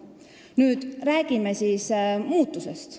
Nüüd räägime muutusest.